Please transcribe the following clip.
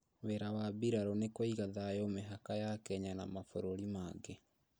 Wĩra wa mbirarũ nĩ kũiga thayũ mĩhaka ya Kenya na mabũrũri mangĩ